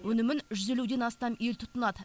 өнімін жүз елуден астам ел тұтынады